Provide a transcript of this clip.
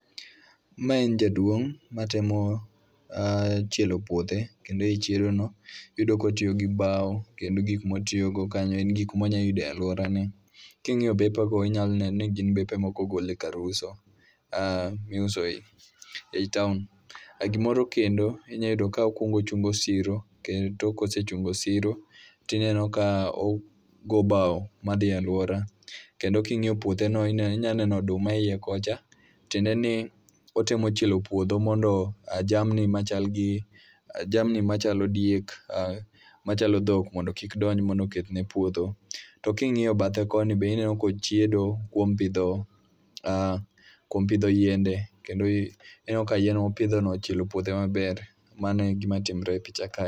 Ma en jaduong' ma temo, eh, chielo puoth. Kendo ei chiedo no, iyudo kotiyo gi bao, kendo gik motiyogo kanyo en gik monya yudo e alworane. King'iyo bepe go inyalo neno ni gin bepe ma ok ogol e kar uso, ah miuso e ei taon. E gimoro kendo, inya yudo ka okuongo ochungo siro, kendo kosechungo siro tineno ka ogo bau madhiye alwora. Kendo king'iyo puothe no inya neno oduma e iye kocha. Tiende ni otemo chielo puodho mondo ah jamni machal gi, jamni machalo diek, ah machalo dhok mondo kik donji mondo okethne puodho. To king'iyo bathe koni be ineno kochiedo kuom pidho, ah kuom pidho yiende. Kendo ineno ka yien mopidho no ochielo puothe maber. Mano e gima timre e picha ka.